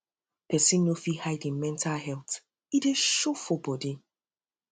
pesin no fit um hide im mental health e dey show um for um bodi